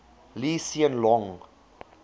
lee hsien loong